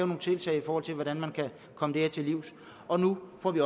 nogle tiltag i forhold til hvordan man kan komme det her til livs og nu får vi